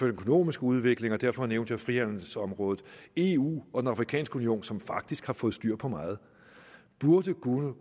økonomiske udvikling og derfor nævnte jeg frihandelsområdet eu og den afrikanske union som faktisk har fået styr på meget burde